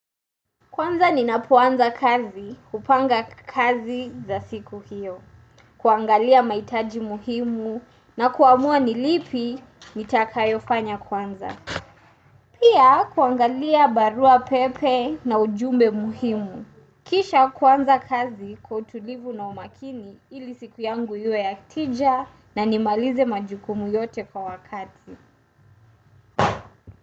Kwanza ninapoanza kazi, hupanga kazi za siku hiyo. Kuangalia maitaji muhimu na kuamua ni lipi, nitakayo fanya kwanza. Pia kuangalia barua pepe na ujumbe muhimu. Kisha kuanza kazi kwa utulivu na umakini ili siku yangu ise ya tija na nimalize majukumu yote kwa wakati.